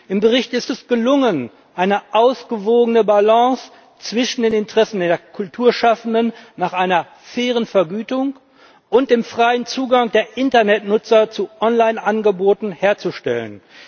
Im Bericht ist es gelungen, eine ausgewogene Balance zwischen den Interessen der Kulturschaffenden an einer fairen Vergütung und dem freien Zugang der Internetnutzer zu Online Angeboten herzustellen.